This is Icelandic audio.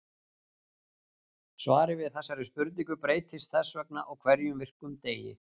Svarið við þessari spurning breytist þess vegna á hverjum virkum degi.